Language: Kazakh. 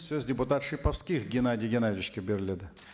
сөз депутат шиповских геннадий геннадьевичке беріледі